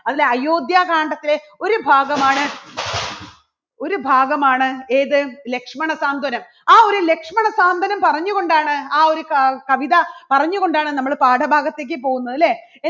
അതിലെ അയോധ്യ കാണ്ഡത്തിലെ ഒരു ഭാഗമാണ് ഒരു ഭാഗമാണ് ഏത് ലക്ഷ്മണ സാന്ത്വനം. ആ ഒരു ലക്ഷ്മണ സാന്ത്വനം പറഞ്ഞുകൊണ്ടാണ് ആ ഒരു ക~കവിത പറഞ്ഞുകൊണ്ടാണ് നമ്മൾ പാഠഭാഗത്തേക്ക് പോകുന്നത് അല്ലേ.